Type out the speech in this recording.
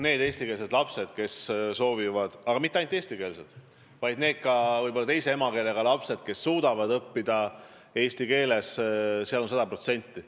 Need eestikeelsed lapsed, kes soovivad, ja mitte ainult eestikeelsed, vaid ka teise emakeelega lapsed, kes suudavad õppida eesti keeles – see võimalus on sada protsenti.